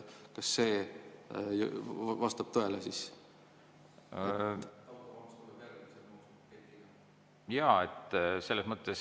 Kas see vastab tõele?